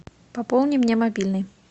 пополни мне мобильный